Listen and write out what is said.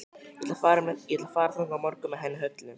Ég ætla að fara þangað á morgun með henni Höllu.